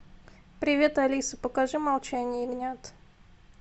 привет алиса покажи молчание ягнят